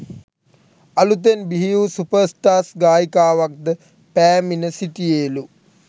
අලුතෙන් බිහිවූසුපර්ස්ටාර්ස් ගායිකාවක්ද පෑමිණ සිටියේලු